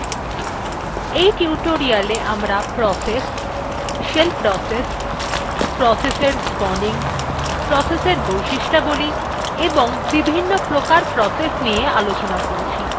এই tutorial আমরা process shell process process এর spawning process এর বৈশিষ্ঠবলী এবং বিভিন্ন্ প্রকার process নিয়ে আলোচনা করেছি